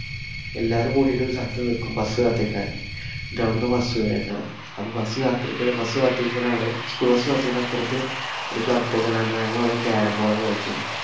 എല്ലാരും കൂടീട്ട് ഒരു സ്ഥലത്ത് നില്‍ക്കും bus കാത്തു നില്ക്കാന്‍. എന്നിട്ട് അവിടുന്ന് bus വരുവാ കേറും. അപ്പ bus കാത്തിരിക്ക bus കാത്തു നിക്കണ അവിടെ school bus കാത്തു നിക്കണ അപ്പുറത്ത് ഒരു club ഒക്കെയുണ്ടായിരുന്നു. ഞങ്ങളവിടെ carrom board ഒക്കെ കളിച്ചിരുന്നു.